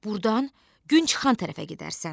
Burdan gün çıxan tərəfə gedərsən.